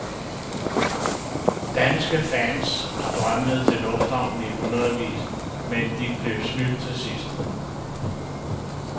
Danske fans strømmede til lufthavnen i hundredvis, men de blev snydt til sidst.